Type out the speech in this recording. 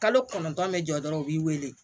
Kalo kɔnɔntɔn bɛ jɔ dɔrɔn u b'i wele